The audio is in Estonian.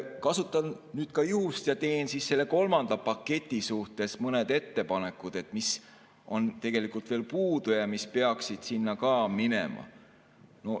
Kasutan juhust ja teen selle kolmanda paketi suhtes mõned ettepanekud, mis on tegelikult veel puudu ja mis peaksid sinna ka minema.